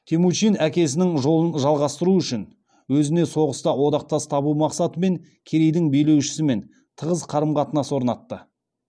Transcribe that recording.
темучин әкесінің жолын жалғастыру үшін өзіне соғыста одақтас табу мақсатымен керейдің билеу шісімен тығыз қарым қатынас орнатты